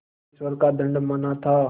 ईश्वर का दंड माना था